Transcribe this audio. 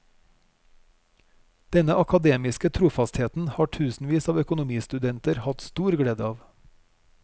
Denne akademiske trofastheten har tusenvis av økonomistudenter hatt stor glede av.